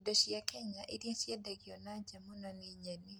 Indo cia Kenya iria ciendagio na nja muno na nyeni